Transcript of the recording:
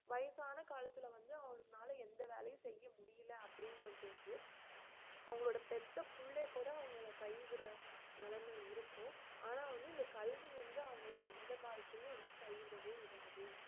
வயசான காலத்துல வந்து அவங்கனால எந்த வேலையும் செய்ய முடியல அப்படிங்கற போது அவங்களோட பெத்த புள்ளே கூட அவங்கள கை விட~ நிலைமை இருக்கும் ஆனா வந்து இந்த கல்வி வந்து அவங்கள எந்த காலத்துலயும் வந்து கை விடவே விடாது